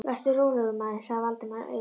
Vertu rólegur, maður sagði Valdimar og auga